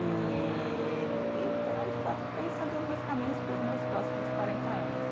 E, e estou né de fato, pensando os meus caminhos para os meus próximos quarenta anos.